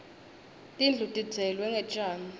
tindlu tidzeklwe ngetjani